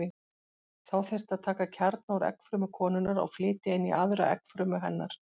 Þá þyrfti að taka kjarna úr eggfrumu konunnar og flytja inn í aðra eggfrumu hennar.